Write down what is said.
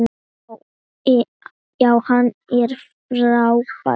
Já, hann er frábær.